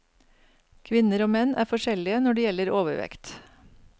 Kvinner og menn er forskjellige når det gjelder overvekt.